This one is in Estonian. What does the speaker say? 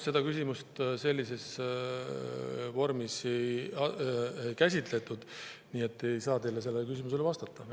Seda küsimust sellises vormis ei käsitletud, nii et ei saa teile sellele küsimusele vastata.